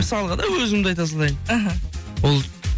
мысалға да өзімді айта салайын іхі болды